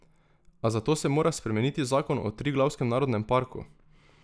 A za to se mora spremeniti zakon o Triglavskem narodnem parku.